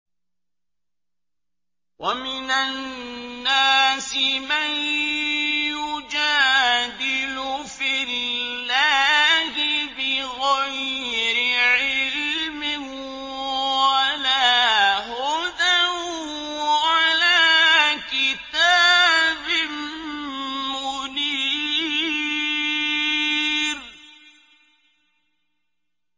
وَمِنَ النَّاسِ مَن يُجَادِلُ فِي اللَّهِ بِغَيْرِ عِلْمٍ وَلَا هُدًى وَلَا كِتَابٍ مُّنِيرٍ